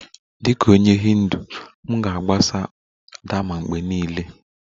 Dịka onye Hindu, m ga-agbaso dharma mgbe niile